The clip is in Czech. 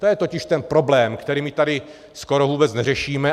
To je totiž ten problém, který my tady skoro vůbec neřešíme.